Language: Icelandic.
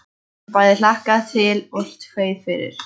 Hann bæði hlakkaði til og kveið fyrir.